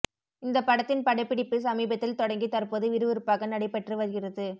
இந்த படத்தின் படப்பிடிப்பு சமீபத்தில் தொடங்கி தற்போது விறுவிறுப்பாக நடைபெற்று வருகிறது